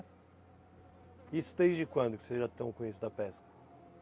E isso desde quando que vocês já estão com isso da pesca?